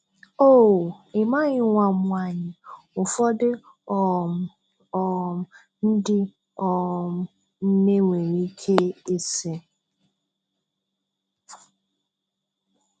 "Oh, ị maghị nwa m nwanyị," ụfọdụ um um ndị um nne nwere ike ịsị.